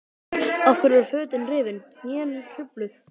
Af hverju eru fötin rifin, hnén hrufluð?